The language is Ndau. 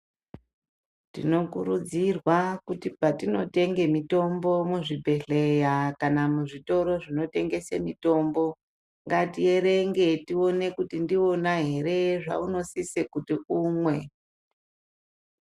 Tinokurudzirwa kuti patinotenge mitombo, muzvibhedleya kana muzvitoro zvinotengese mitombo ,ngatiyerenge tiwone kuti ndiwona here zvaunosise kuti unwe.